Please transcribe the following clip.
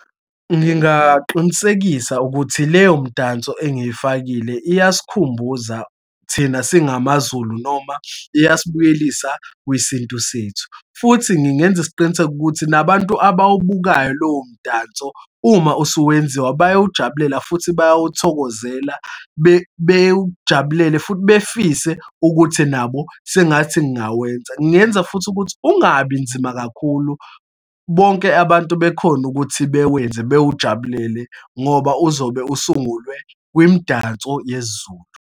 Ngingaqinisekisa ukuthi leyo mdanso engiyifakile iyasikhumbuza thina singamaZulu noma uyasibuyelisa kwesintu sethu. Futhi ngingenza isiqiniseko ukuthi nabantu abawubukayo lowo mdanso, uma usuwenziwa, bayawujabulela futhi bayawuthokozela, bewujabulele futhi befise ukuthi nabo sengathi ngingawenza. Ngingenza futhi ukuthi ungabi nzima kakhulu, bonke abantu bekhone ukuthi bewenze, bewujabulele ngoba uzobe usungulwe kwimidanso yesiZulu.